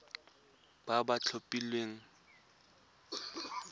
ba ba tlhophilweng ke sacnasp